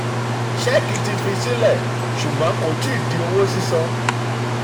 ṣẹ́ẹ̀kì ti fi sílẹ̀ ṣùgbọ́n um kò ti di owó sísan.